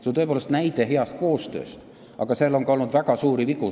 See on tõepoolest näide hea koostöö kohta, aga selles koostöös on olnud ka väga suuri vigu.